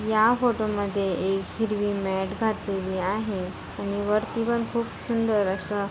या फोटो मद्धे एक हिरवी मॅट घातलेली आहे आणि वरती पण खूप सुंदर असा--